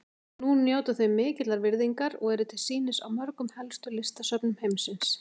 Nú njóta þau mikillar virðingar og eru til sýnis á mörgum helstu listasöfnum heimsins.